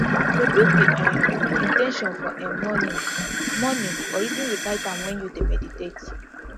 repeat di um in ten tion for um morning morning or even recite am when you dey meditate